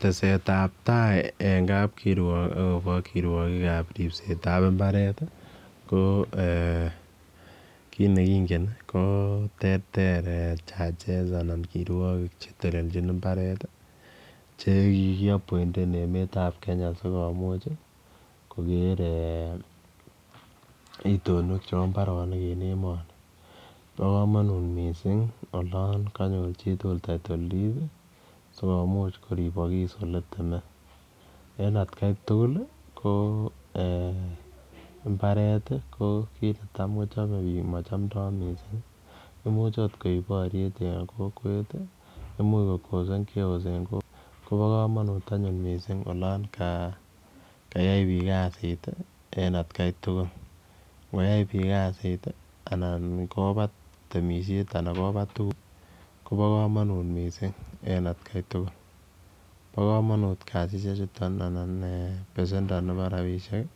Teset ab tai e kapkirwok agobo ripsetab mbaret ko kit ne kingen ko terter judges anan kirwogik che telelchin mbaret che kigiappointen emet ab Kenya sikomuuch koger itonwek chebo mbarenik en emoni. Bo komonut yon konyor chituugl title deed sikommuch koribokis ole teme. En atkai tugul ko mbaret ko kit ne tam kochome biik mochomdoi missing, imuch ot koik boryet en kokwet imuche ko causen chaoas en kokwet. Ko bo komonut anyun mising olon kayai biik kasit en atkai tuugl. Nkoyai biiik kasit anan kobat temsiiet anan kobat tuugk ko bo komonut mising en atkai tugul. Bo komonut kasishek chuto anan besendo nebo rabishek